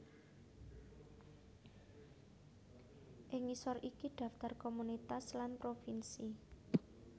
Ing ngisor iki daftar komunitas lan provinsi